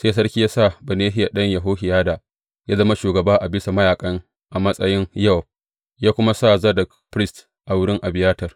Sai sarki ya sa Benahiya ɗan Yehohiyada ya zama shugaba a bisa mayaƙa a matsayin Yowab, ya kuma sa Zadok firist a wurin Abiyatar.